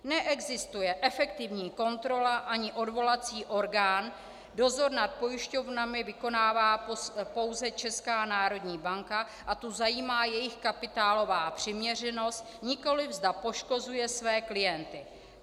Neexistuje efektivní kontrola ani odvolací orgán, dozor nad pojišťovnami vykonává pouze Česká národní banka a tu zajímá jejich kapitálová přiměřenost, nikoliv zda poškozuje své klienty.